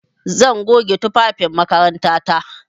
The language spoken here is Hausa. Zan goge tufafin makarantata.